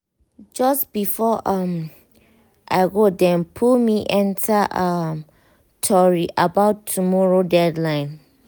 just before um i go dem pull me enter um tori about tomorrow deadline.